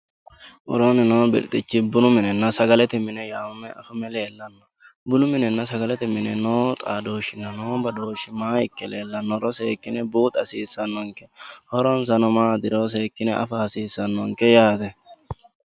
Worooni noo birxichi bununa sagalete yaamame afame leellano, bunu minenna sagalete nine noo xaadoshinna no badooshi maa ikke leellanoro seekkine buuxa hasiisanonke, horonsano maatiro seekkine affa hasiisanonke yaate.